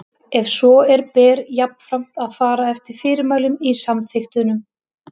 Ef svo er ber jafnframt að fara eftir fyrirmælum í samþykktunum.